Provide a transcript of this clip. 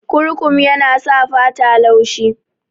Kurkum yana sa fata tayi laushi